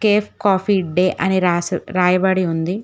Cafe Coffee Day అని రాసి రాయబడి ఉంది.